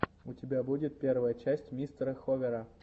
у тебя будет первая часть мистера ховера